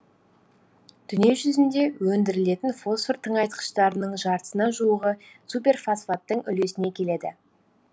дүние жүзінде өндірілетін фосфор тыңайтқыштарының жартысына жуығы суперфосфаттың үлесіне келеді